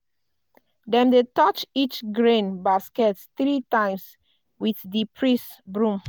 dem dey touch each grain basket three times with di priest broom.